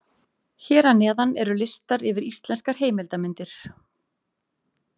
Hér að neðan eru listar yfir íslenskar heimildarmyndir.